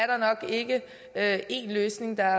der nok ikke er én løsning der